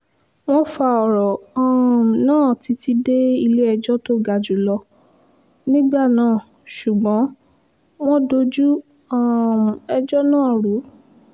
wọ́n fa ọ̀rọ̀ um náà títí dé ilé-ẹjọ́ tó ga jù lọ nígbà náà ṣùgbọ́n wọ́n dojú um ẹjọ́ náà rú